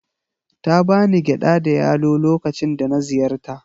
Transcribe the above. Ta ba ni gyada da yalo lokacin da na ziyarta.